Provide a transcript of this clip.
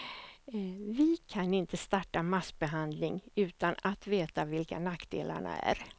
Vi kan inte starta massbehandling utan att veta vilka nackdelarna är.